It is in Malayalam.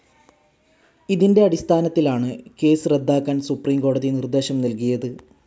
ഇതിൻ്റെ അടിസ്ഥാനത്തിലാണ് കേസ്സ് റദ്ദാക്കാൻ സുപ്രീം കോടതി നിർദ്ദേശം നൽകിയത്.